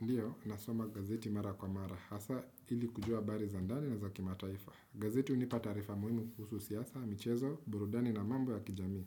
Ndiyo, nasoma gazeti mara kwa mara, hasa ili kujua bari zandani na zakimataifa. Gazeti unipata taarifa muhimu kuhusu siyasa, michezo, burudani na mambo ya kijami.